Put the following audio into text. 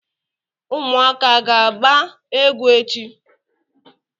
ụmụaka ga agba egwu echi?